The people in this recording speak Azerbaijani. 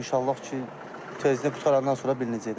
İnşallah ki, tezdən qutarandan sonra bilinəcəkdir.